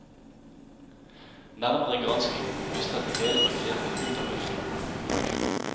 Nærmere granskning viste at det hele var grepet ut av luften.